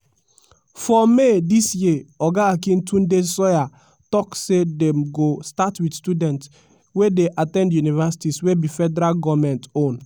for may dis year oga akintunde sawyer tok say dem go start wit students wey dey at ten d universities wey be federal goment own.